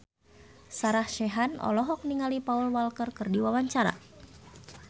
Sarah Sechan olohok ningali Paul Walker keur diwawancara